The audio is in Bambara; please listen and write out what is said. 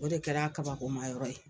O de kɛr'a kabakomayɔrɔ ye.